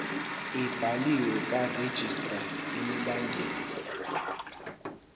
ebhaliwe karegistrar imibandela